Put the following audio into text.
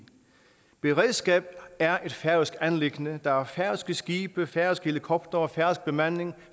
beredskabet er et færøsk anliggende der er færøske skibe færøske helikoptere færøsk bemanding og